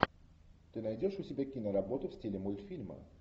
ты найдешь у себя киноработу в стиле мультфильма